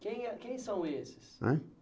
Quem é quem são esses? Hã